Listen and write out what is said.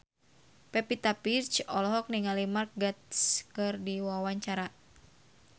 Pevita Pearce olohok ningali Mark Gatiss keur diwawancara